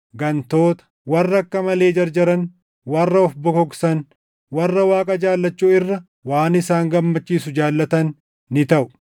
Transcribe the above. gantoota, warra akka malee jarjaran, warra of bokoksan, warra Waaqa jaallachuu irra waan isaan gammachiisu jaallatan ni taʼu;